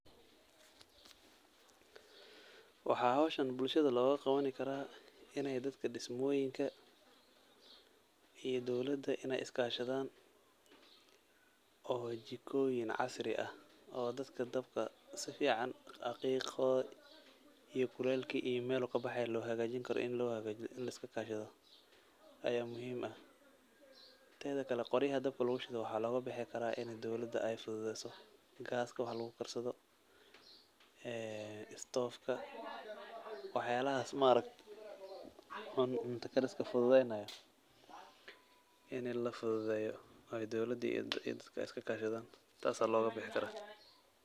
Waxa howshan bulshada loga qabani karaa inay dadka dismoyinka iyo dowlada iska shadhan oo jikoyiin casri ah oo dadka dabka sifican, qiqodiiyo kulelki melu kabaxey lo hagaajin karo lo hagajiiyo la iska kashaadho aya muhiim, tedha kale qoryaha dabka lagu shiido waxa loga bixi kara inay dowlada fududeso gas waax lagu gaarsado en stove ka ,waax yalahas maarakte oo cunto kariska fududenayo in la fududeyo ee dowlada iyo dadka iska kashadhan taas aya loga bixi kara.